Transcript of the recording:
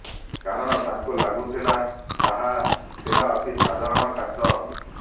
କାରଣ ତାଙ୍କୁ ଲାଗିଥିଲା ତାହା ଥିଲା ଅତି ସାଧାରଣ କାଚ